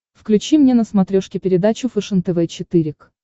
включи мне на смотрешке передачу фэшен тв четыре к